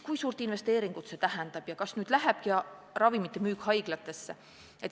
Kui suurt investeeringut see tähendaks ja kas nüüd lähekski ravimite müük üle haiglatesse?